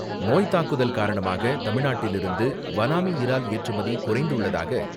நோய்த்தாக்குதல் காரணமாக தமிழ்நாட்டிலிருந்து வனாமி இறால் ஏற்றுமதி குறைந்துள்ளதாக